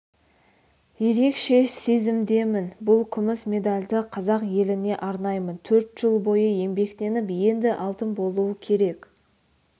ерекше сезімдемін бұл күміс медальді қазақ еліне арнаймын төрт жыл бойы еңбектеніп енді алтын болуы керек